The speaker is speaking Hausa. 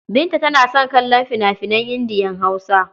Binta tana son kallon fina-finan Indiya-Hausa.